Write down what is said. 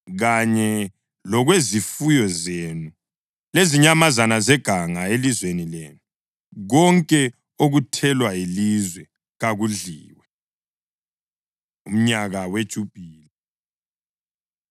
kanye lokwezifuyo zenu lezinyamazana zeganga elizweni lenu. Konke okuthelwa yilizwe kakudliwe.’ ” Umnyaka WeJubhili